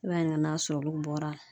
I b'a ɲininka n'a sɔrɔ olu bɔra la.